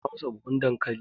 auna masa buhun dankali!